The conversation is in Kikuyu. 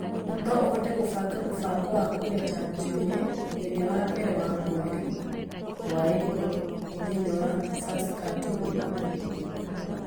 No ũhote kũbanga mũbango wa kũgeta njuĩrĩ mũthenya wa mbere wa mweri wa Ĩpuro thĩinĩ wa Saskatoon